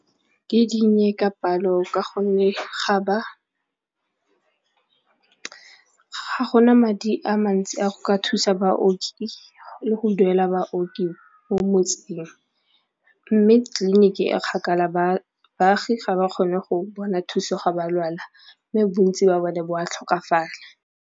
Ke dinnye ka palo ka gonne ga go na madi a mantsi a go ka thusa baoki le go duela baoki mo motseng mme tleliniki e kgakala baagi ga ba kgone go bona thuso ga ba lwala mme bontsi ba bone bo a tlhokafala.